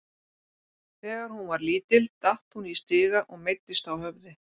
Þegar hún var lítil datt hún í stiga og meiddist á höfði.